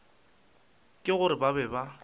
ke gore ba be ba